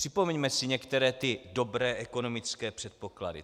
Připomeňme si některé ty dobré ekonomické předpoklady.